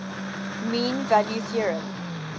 mean value theorem